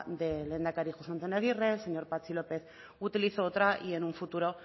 del lehendakari jose antonio agirre el señor patxi lópez utilizó otra y en un futuro